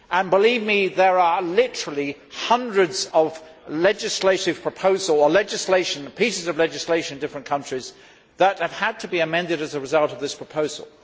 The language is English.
Believe me, there are literally hundreds of legislative proposals or pieces of legislation in different countries that have had to be amended as a result of this proposal.